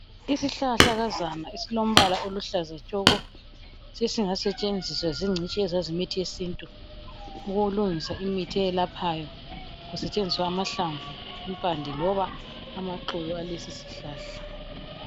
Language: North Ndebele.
Isihlahlakazana esilombala oluhlaza tshoko. Sesingasetshenzisa zingcitshi ezazi imithi yesintu ukulungisa imithi eyelaphayo kusetshenziswa amahlamvu, impande loba amaxolo alesi sihlahla.